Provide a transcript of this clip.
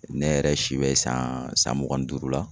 Ne yɛrɛ si bɛ san san mugan ni duuru la